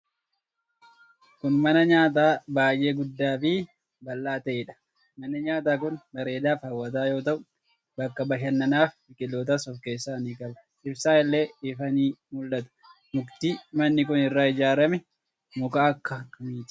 Kun, mana nyaataa baay'ee guddaa fi bal'aa ta'eedha. Manni nyaataa kun, bareedaa fi hawwataa yoo ta'u, bakka bashannanaa fi biqilootas of keesssaa ni qabu. Ibsaan, illee ifaa ni mul'ata. Mukti manni kun irraa ijaarame muka akka kamiiti.